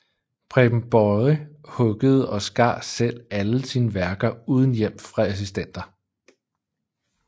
Preben Boye huggede og skar selv alle sine værker uden hjælp fra assistenter